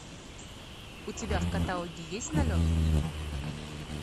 у тебя в каталоге есть налет